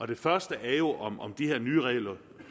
det første er jo om om de her nye regler